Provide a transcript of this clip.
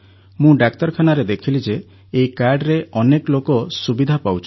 ମୁଁ ଡାକ୍ତରଖାନାରେ ଦେଖିଲି ଯେ ଏହି କାର୍ଡ଼ରେ ଅନେକ ଲୋକ ସୁବିଧା ପାଉଛନ୍ତି